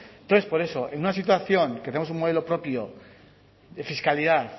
entonces por eso en una situación tenemos un modelo propio de fiscalidad